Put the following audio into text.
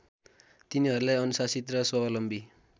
तिनीहरूलाई अनुशासित र स्वावलम्बी